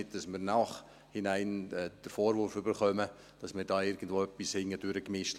Nicht, dass wir im Nachhinein den Vorwurf erhalten, dass wir da irgendwo etwas hintendurch eingefädelt hätten.